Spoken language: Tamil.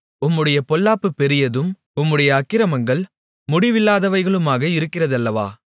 உம்முடைய பொல்லாப்பு பெரியதும் உம்முடைய அக்கிரமங்கள் முடிவில்லாதவைகளுமாக இருக்கிறதல்லவோ